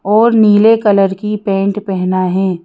और नीले कलर की पेंट पहना है।